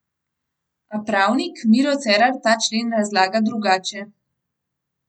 A pravnik Miro Cerar ta člen razlaga drugače.